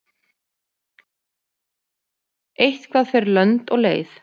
Eitthvað fer lönd og leið